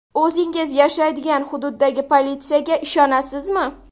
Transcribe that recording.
O‘zingiz yashaydigan hududdagi politsiyaga ishonasizmi?